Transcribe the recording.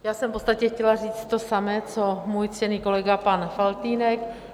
Já jsem v podstatě chtěla říct to samé, co můj ctěný kolega pan Faltýnek.